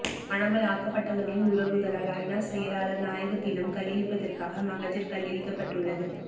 காணாமல் ஆக்கப்பட்டவர்களின் உறவுகளால் ஐநா செயலாளர் நாயகத்திடம் கையளிப்பதற்காக மகஜர் கையளிக்கப்பட்டுள்ளது